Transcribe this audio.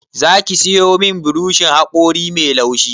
Za ki sayo min burushin haƙori mai laushi?